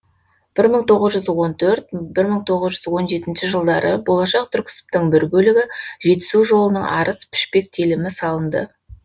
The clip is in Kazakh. бір мың тоғыз жүз он төрт бір мың тоғыз он жетінші жылдары болашақ түрксібтің бір бөлігі жетісу жолының арыс пішпек телімі салынды